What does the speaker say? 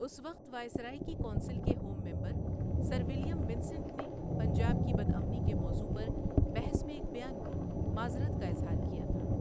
اس وقت وائسرائے کی کونسل کے home member sir William Vincent نے پنجاب کی بدامنی کے موضوع پر بحث میں ایک بیان میں معذرت کا اظہار کیا تھا۔